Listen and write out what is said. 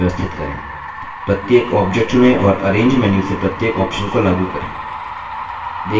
प्रत्येक object चुनें और arrange menu से प्रत्येक option को लागू करें